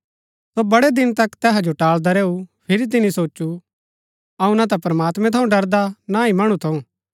सो वडै़ दिन तक तैहा जो टालदा रैऊ फिरी तिनि सोचु अऊँ न ता प्रमात्मैं थऊँ ड़रदा न ही मणु थऊँ